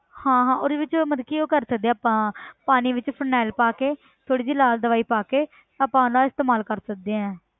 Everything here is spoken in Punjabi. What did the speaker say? ਹਾਂ ਹਾਂ ਉਹਦੇ ਵਿੱਚ ਮਤਲਬ ਕਿ ਉਹ ਕਰ ਸਕਦੇ ਹਾਂ ਆਪਾਂ ਪਾਣੀ ਵਿੱਚ phenyl ਪਾ ਕੇ ਥੋੜ੍ਹੀ ਜਿਹੀ ਲਾਲ ਦਵਾਈ ਪਾ ਕੇ ਆਪਾਂ ਨਾ ਇਸਤੇਮਾਲ ਕਰ ਸਕਦੇ ਹਾਂ